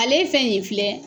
Ale fɛn yen filɛ.